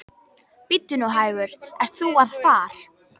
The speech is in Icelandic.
Bíddu nú hægur, ert þú að far.